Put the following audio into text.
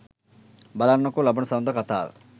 බලන්නකෝ ලබන සඳුදා කතාව.